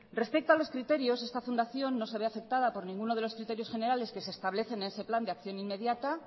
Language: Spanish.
respecto a los criterios esta fundación no se ve afectada por ninguno de los criterios generales que se establecen en ese plan de acción inmediata